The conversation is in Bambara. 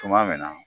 Tuma min na